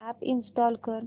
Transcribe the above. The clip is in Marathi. अॅप इंस्टॉल कर